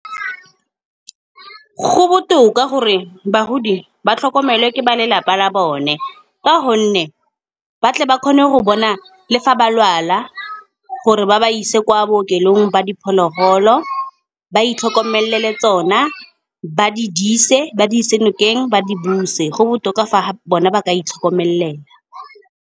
Go botoka gore bagodi ba tlhokomelwe ke ba lelapa la bone. Ka gonne ba tle ba kgone go bona le fa ba lwala, gore ba ba ise kwa bookelong ba diphologolo. Ba itlhokomele tsona ba di dirise, ba di ise nokeng, ba di buse, go botoka fa bone ba ka itlhokomela.